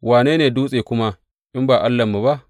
Wane ne dutse kuma in ba Allahnmu ba?